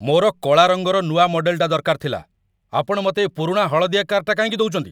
ମୋର କଳା ରଙ୍ଗର ନୂଆ ମଡେଲଟା ଦରକାର ଥିଲା । ଆପଣ ମତେ ଏ ପୁରୁଣା ହଳଦିଆ କାର୍‌ଟା କାହିଁକି ଦଉଚନ୍ତି?